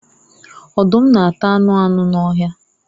Ọdum nāta anu anu n'ọhia